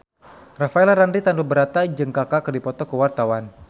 Rafael Landry Tanubrata jeung Kaka keur dipoto ku wartawan